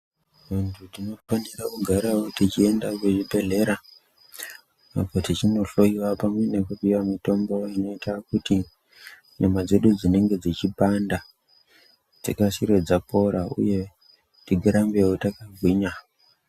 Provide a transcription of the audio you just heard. Bantu tinofanira kugara tichienda kuchibhedlera apo tichinohloyiwa pamwe ngekupiwa mitombo inoita kuti nyama dzedu dzinenge dzichipanda dzikasare dzapora uye tirambewo takagwinya.